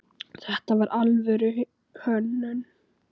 Þetta var alvöru hönnun.